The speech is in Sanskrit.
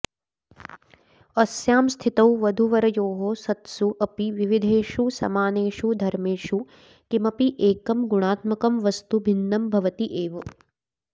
अस्याम् स्थितौ वधूवरयोः सत्सु अपि विविधेषु समानेषु धर्मेषु किमप्येकम् गुणात्मकम् वस्तु भिन्नम् भवत्येव